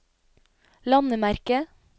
landemerke